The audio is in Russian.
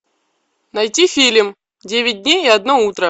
найти фильм девять дней и одно утро